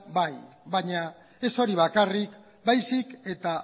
bai baina ez hori bakarrik baizik eta